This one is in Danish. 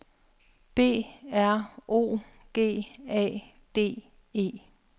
B R O G A D E